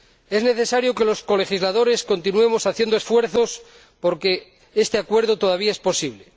Es necesario que los colegisladores continuemos haciendo esfuerzos, porque este acuerdo todavía es posible.